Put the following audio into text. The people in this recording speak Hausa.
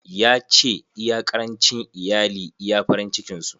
Ya ce, iya karancin iyali iya farin cikin su.